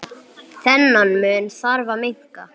Þennan mun þarf að minnka.